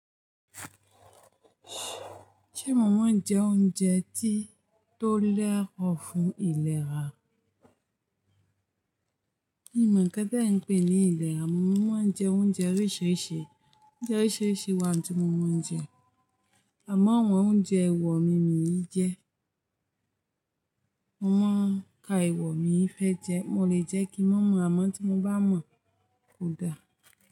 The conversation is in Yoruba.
Ṣé mo máa ń jẹ oúnjẹ tí tó lẹ́rọ̀ fún ìlera? Mi ò mọ̀ kí ẹ́ dọ́ọ̀n pè ní ìlera. Mo máa ń jẹ oúnjẹ oríṣiríṣi. Oúnjẹ oríṣiríṣi wà tí mo máa ń jẹ. Àmọ́ àwọn oúnjẹ ẹwà mi ò lè jẹ. Mo máa ń ka ewọ mi fẹ́ jẹ. Mo lè jẹ kí n mọ̀, àmọ́ tí mo bá mọ̀ kò da.